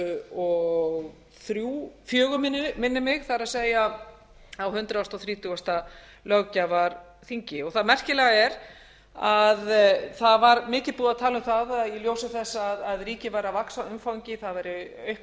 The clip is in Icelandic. og fjögur minnir mig það er á hundrað þrítugasta löggjafarþingi það merkilega er að það var mikið búið að tala um það að í ljósi þess að ríkið væri að vaxa að umfangi það væri aukning á starfsmönnum